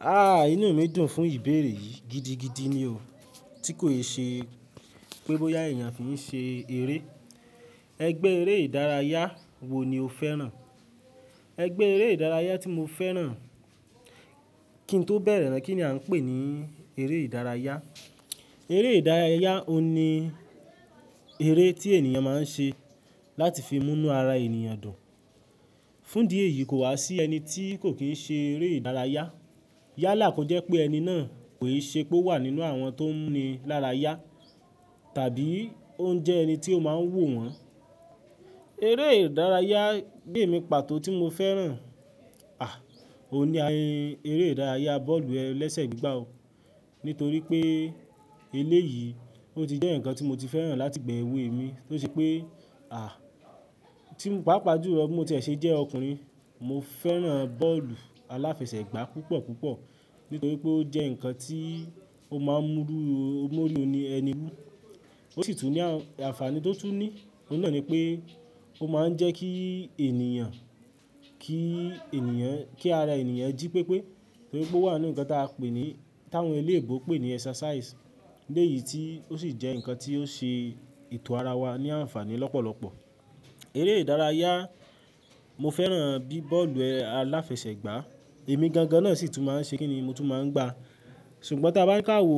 Ah! Inú mi dùn fún ìbéèrè yìí. Gidi gidí ni o. Tí kò ṣe pé bóyá èèyàn fi ń ṣe eré. Ẹgbẹ́ eré ìdárayá wo ni o fẹ́ràn? Ẹgbẹ́ eré ìdárayá tí mo fẹ́ràn kí ń tó bẹ̀rẹ̀ rẹ̀, kí ni a ń pè ní eré ìdárayá? Eré ìdárayá, óhun ní eré tí ènìyàn máa ń ṣe láti fi mú inú ara ènìyàn dùn. Fún di èyí kò wá sí ẹni tí kò kí í ṣe eré ìdárayá. Yálà kò jẹ́ pé ẹni náà kò ì ṣe pé ó wà nínú àwọn tó ń mú un lárayá tàbí ó ń jẹ́ ẹni tí ó máa ń wò wọ́n. Eré ìdárayá bí èmi pàtó tí mo fẹ́ràn, à! Òun ni ẹ́ eré ìdárayá bọ́ọ̀lù ẹlẹ́sẹ̀ gbígbà o. Nítorí pé eléyìí, ó ti jẹ́ ǹkan tí mo ti fẹ́ràn láti ìgbà ẹ̀wé mi tó ṣe pé, à! Tí mo bá pàápàá jùlọ, bí mó tí ẹ ṣe jẹ́ ọkùnrin, mo fẹ́ràn bọ́ọ̀lù aláfẹsẹ̀gbá púpọ̀ púpọ̀ nítorí pé ó jẹ́ ǹkan tí ó máa ń mú rú m'orí ní ẹni wú. Ó sì tún ní àǹfààní tó tún ní. Ó n náà ni pé ó máa ń jẹ́ kí ènìyàn, kí ènìyàn, kí ara ènìyàn jí pépé torí pé ó wà nínú ǹkan tí a ń pè ní, tí àwọn eléebó ń pè ní exercise. Eléyìí tí ó sì jẹ́ ǹkan tí ó ń ṣe ètò ara wa ní àǹfààní lọ́pọ̀lọpọ̀. Eré ìdárayá mo fẹ́ràn bí i bọ́ọ̀lù aláfẹsẹ̀gbá. Èmi gangan náà sì tún máa ń ṣe kínní mo tún máa ń gbá. Ṣùgbọ́n tí a bá ń kàwò,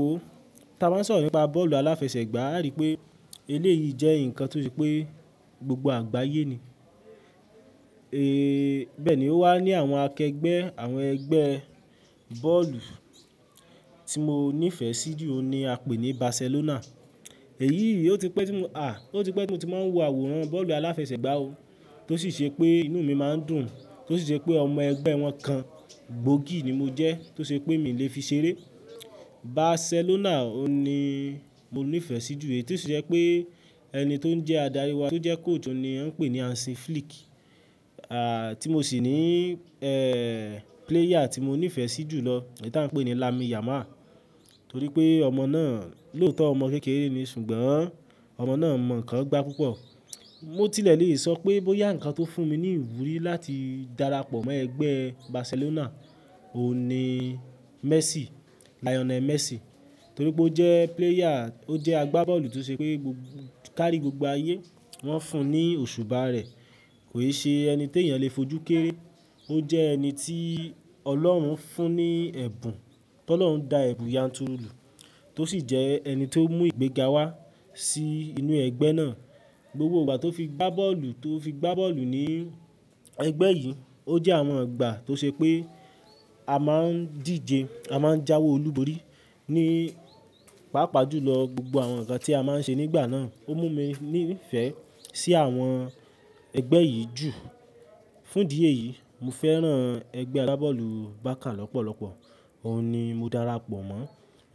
tí a bá ń sọ̀rọ̀ nípa bọ́ọ̀lù aláfẹsẹ̀gbá, àri pé eléyìí jẹ́ ǹkan tó ṣe pé gbogbo àgbáyé ni. Bẹ́ẹ̀ ni ó wà ní àwọn akẹgbẹ́ àwọn ẹgbẹ́ bọ́ọ̀lù tí mo nífẹ̀ẹ́ sí jù ọ ni a pè ní Barcelona. Èyí yìí, ó ti pẹ́ tí mo, à! Ó ti pẹ́ tí mo ti máa ń wò àwòrán bọ́ọ̀lù aláfẹsẹ̀gbá o. Tó sì ṣe pé inú mi máa ń dùn. Tó sì ṣe pé ọmọ ẹgbẹ́ wọn kan, gbòógì ni mo jẹ́. Tó ṣe pé mi le fi ṣeré. Barcelona òun ni mo nífẹ̀ẹ́ sí jù èyí tó sì ṣe pé ẹni tó ń jẹ́ adarí wa, tó jẹ́ coach, òun ni a ń pè ní Hansi Flick. Tí mo sì ní, player tí mo nífẹ̀ẹ́ sí jù lọ, èyí tí a ń pè ní Lami Yama. Torí pé ọmọ náà lòótọ́ ọmọ kékeré ni, ṣùgbọ́n ọmọ náà mọ̀ ǹkan gbá púpọ̀. Mo tilẹ̀ le sọ pé bóyá ǹkan tó fún mi ní ìwúrí láti darapọ̀ mọ́ ẹgbẹ́ Barcelona òun ni Messi, Lionel Messi. Torí pé ó jẹ́ player, ó jẹ́ agbábọ́ọ̀lù tó ṣe pé gbogbo kárí gbogbo ayé wọ́n fún un ní òṣùbá rẹ̀. Kò i ṣe ẹni tí èèyàn le fojú kéré. Ó jẹ́ ẹni tí ọlọ́run fún ní ẹ̀bùn. Tọ́lọ́run dá ẹ̀bùn yanturu lù. Tó sì jẹ́ ẹni tó mú ìgbéga wá sí inú ẹgbẹ́ náà. Gbogbo ìgbà tó fi gbá bọ́ọ̀lù, tó fi gbá bọ́ọlù ní ẹgbẹ́ yìí, ó jẹ́ àwọn ìgbà tó ṣe pé a máa ń díje, a máa ń jáwe olúborí ní pàápàá jù lọ gbogbo àwọn ǹkan tí a máa ń ṣe nígbà náà. Ó mú mi nífẹ̀ẹ́ sí àwọn ẹgbẹ́ yìí jù. Fún di èyí, mo fẹ́ràn ẹgbẹ́ agbábọ́ọ̀lù Barça lọ́pọ̀lọpọ̀. Òun ni mo darapọ̀ mọ́.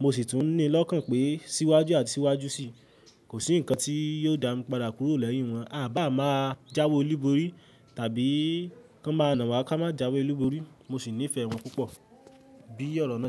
Mo sì tún ní lọ́kàn pé síwájú àti síwájú sì kò sí ǹkan tí yóò dá mi padà kúrò lẹ́yìn wọn. A bá máa jáwé olúborí tàbí kán máa nà wa ká má jáwé olúborí, mo sì nífẹ̀ẹ́ wọn púpọ̀ bí ọ̀rọ̀ náà.